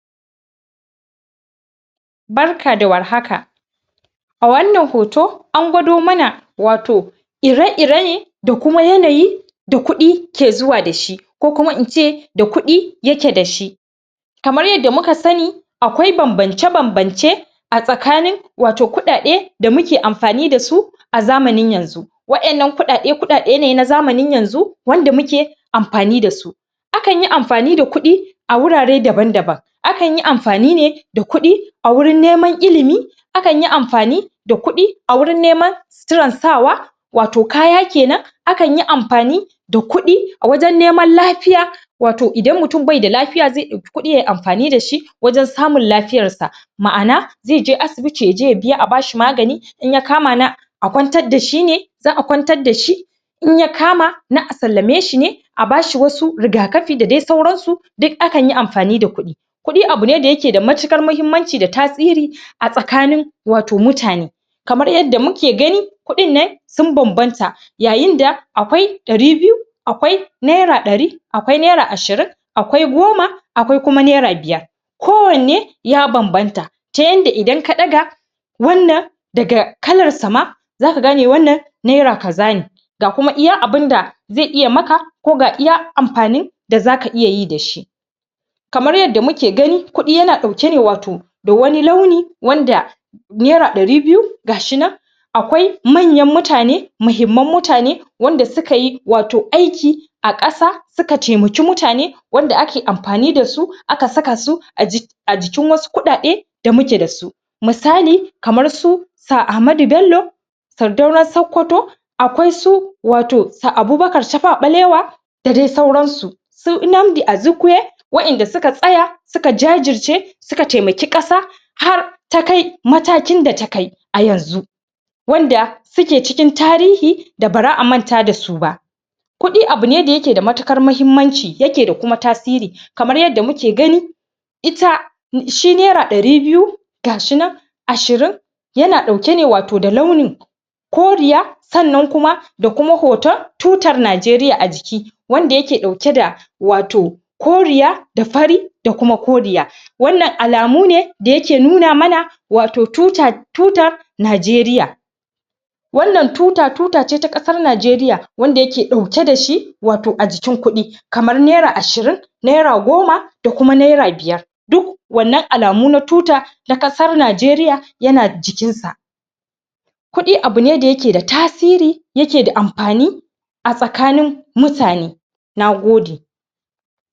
barka da war haka a wannan hoto angwado mana wato ire rene da kuma yanayi da kuɗi ke zuwa dashi ko kuma ince da kuɗi yaje dashi kamar yanda muka sani akwai banbance banbance a tsakanin wato kuɗaɗe da muke amfani dasu a zamanin yanzu waɗannan kuɗaɗe kuɗaɗe ne na zamanin yanzu wanda muke amfani dasu akanyi amfani da kuɗi a wurare daban daban akanyi amfani ne da kuɗia wurin neman ilimi akanyi amfani da kuɗi a wurin neman suturan sawa wato kaya kenan akanyi amfani da kuɗi a wajan neman lafiya wato idan mutum baida lafiya zai ɗauki kuɗi yayi amfani dashi wajan samu lafiyar sa ma'ana zaije asibiti yaje biya a bashi magani inya kama na a ƙwantar da shine za a ƙwantar dashi inyakama na asallame shi ne a bashi wasu riga kafi da dai sauransu duk akanyi amfani da kuɗi kuɗi abu ne da yake da matuƙar mahimmanci da tasiri a tsakanin wato mutane kamar yanda muke gani kuɗin nan sun banbanta yayin da akwai dari biyu akwai naira ɗari akwai naira ashirin akwai goma akwai kuma naira biyar ko wanne ya banbanta ta yanda idan ka ɗaga wannan daga kalarsa ma zaka gane wannan naira kaza ne ga kuma iya abunda zai iya maka ko ga iya amfanin da zaka iyayi dashi kamar yanda muke gani kuɗi yana ɗauke ne wato da wani launi wanda naira dari biyu gashinan akwai manyan mutane mahimman mutane wanda sukayi wato aiki a ƙasa wato suka taimaki mutane wanda ake amfani dasu aka sakasu a jikin wasu kuɗaɗe da muke dasu misali kamarsu sir amadu bello sardaunan sakƙwato aƙwaisu wato sir abubakar taɓawa ɓalewa da dai sauransu su Nnamdi Azikiwe wa inda suka tsaya suka jajirce suka taimaki ƙasa har takai matakin da takai a yanzu wanda suke cikin tarihi da bara a manta dasu ba kuɗi abune da yake da matuƙar mahimmanci yake kuma tasiri kamar yanda muke gani ita shi naira ɗari biyu gashinan ashirin yana ɗauke ne wato da launin koriya sannan kuma da kuma hotan tutar najeriya a jiki wanda yake ɗauke da wato koriya da fari da kuma koriya wannan alamune da yake nuna mana wato tuta tutar nageriya wannan tuta tutace ta ƙasar nageriya wanda yake ɗaue dashi wato a jikin kuɗi kamar naira ashirin naira goma da kuma naira biyar duk wannan alamu na tuta na ƙasar najeriya yana jikinsa kuɗi abune da yake da tasiri yake da amfani a tsakanin mutane nagode